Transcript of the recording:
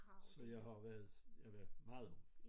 Så jeg har jo været ja meget ung